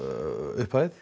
upphæð